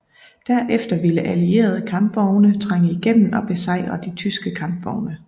Derefter ville allierede kampvogne trænge igennem og besejre de tyske kampvogne